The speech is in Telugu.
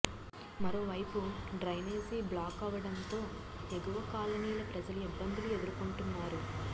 మరోవైపు డ్రైనేజీ బ్లాక్ అవ్వడంతో ఎగువ కాలనీల ప్రజలు ఇబ్బందులు ఎదుర్కొంటున్నారు